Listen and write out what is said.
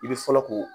I bɛ fɔlɔ ko